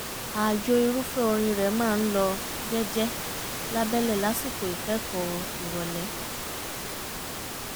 ààyò irúfẹ́ orin rẹ̀ máa ń lọ jẹ́jẹ́ lábẹ́lẹ̀ lásìkò ìkẹ́kọ̀ọ́ ìrọ̀lẹ́